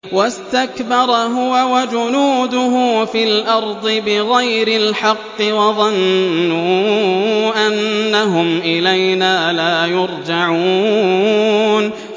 وَاسْتَكْبَرَ هُوَ وَجُنُودُهُ فِي الْأَرْضِ بِغَيْرِ الْحَقِّ وَظَنُّوا أَنَّهُمْ إِلَيْنَا لَا يُرْجَعُونَ